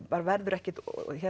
verður ekkert